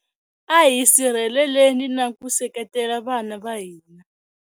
A hi sirheleleni na ku seketela vana va hina.